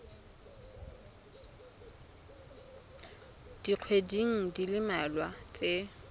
dikgweding di le mmalwa tse